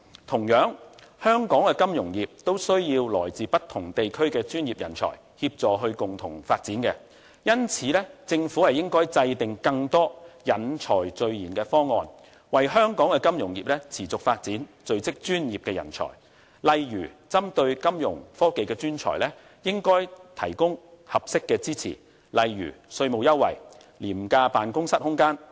同樣，香港的金融業也需要來自不同地區的專業人才協助共同發展，因此政府應該制訂更多引才聚賢的方案，為香港的金融業持續發展聚積專業人才，例如針對金融科技專才，應該提供合適的支持，如稅務優惠、廉價辦公室空間等。